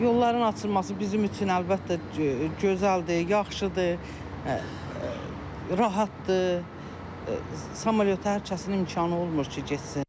Yolların açılması bizim üçün əlbəttə gözəldir, yaxşıdır, rahatdır, samolyota hər kəsin imkanı olmur ki, getsin.